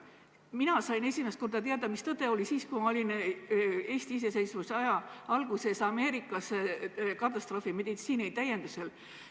Mina sain esimest korda teada, mis tõde oli, siis, kui ma olin iseseisvuse aja alguses Ameerikas katastroofimeditsiini täienduskoolitusel.